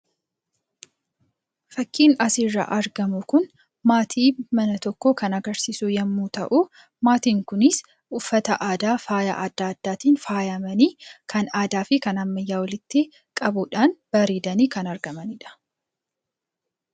Fakiin asirraa arginu Kun maatii mana tokkoo kan agarsiisu yoo ta'u. Maatii Kunis uffata aadaa faaya adda addaatiin faayamanii kan aadaa fi kan ammayyaa walitti qabudhaan bareedanii kan argamanidha.